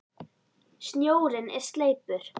Snjórinn er sleipur!